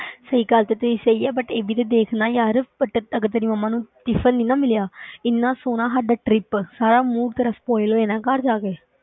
ਸਹੀ ਗੱਲ ਕੀਤੀ, ਸਹੀ ਹੈ but ਇਹ ਵੀ ਤੇ ਦੇਖ ਨਾ ਯਾਰ but ਅਗਰ ਤੇਰੀ ਮੰਮਾ ਨੂੰ tiffin ਨੀ ਨਾ ਮਿਲਿਆ ਇੰਨਾ ਸੋਹਣਾ ਸਾਡਾ trip ਸਾਰਾ mood ਤੇਰਾ spoil ਹੋ ਜਾਣਾ ਹੈ ਘਰ ਜਾ ਕੇ।